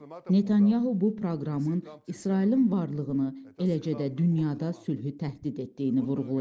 Netanyahu bu proqramın İsrailin varlığını, eləcə də dünyada sülhü təhdid etdiyini vurğulayıb.